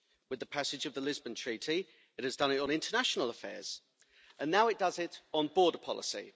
With the passage of the Lisbon Treaty, it has done it on international affairs, and now it does it on border policy.